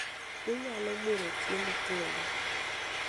inyalo muro chiemo kendo